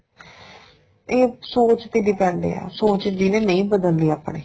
ਇਹ ਸੋਚ ਤੇ depend ਏ ਸੋਚ ਜਿਹਨੇ ਨਹੀਂ ਬਦਲਣੀ ਆਪਣੀ